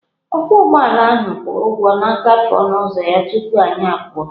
Ọkwọ ụgbọala ahụ kwụrụ ụgwọ ngafe onụ uzọ ya tupu anyị apụọ.